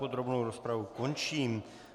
Podrobnou rozpravu končím.